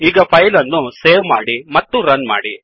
ಈಗ ಫಾಯಿಲ್ ಅನ್ನು ಸೇವ್ ಮಾಡಿ ಮತ್ತು ರನ್ ಮಾಡಿ